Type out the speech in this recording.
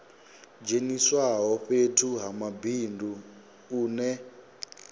dzheniswaho fhethu ha mabindu une